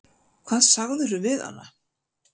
Hvað sagðirðu við hana?